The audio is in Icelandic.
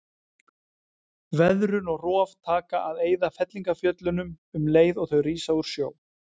Veðrun og rof taka að eyða fellingafjöllunum um leið og þau rísa úr sjó.